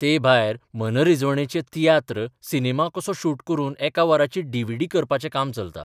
ते भायर मनरिजवणेचे तियात्र सिनेमा कसो शूट करून एका वराची डीव्हीडी करपाचें काम चलता.